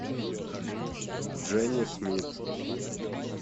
дженни смит